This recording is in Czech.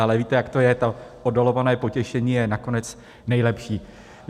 Ale víte, jak to je, to oddalované potěšení je nakonec nejlepší.